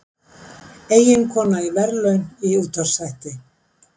Eiginkona í verðlaun í útvarpsþætti